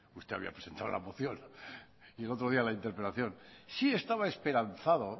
usted había presentado la moción y el otro día la interpelación sí estaba esperanzado